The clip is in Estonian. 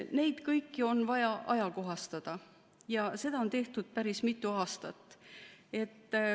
Neid kõiki on vaja ajakohastada ja seda on tehtud päris mitu aastat.